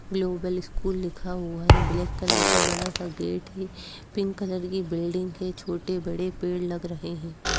Global school लिखा हुआ है। ब्लैक कलर का बड़ा सा गेट है पिंक कलर की बिल्डिंग है। छोटे बड़े पेड़ लग रहे हैं।